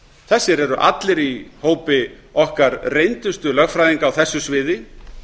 þessir eru allir í hópi okkar reyndustu lögfræðinga á þessu sviði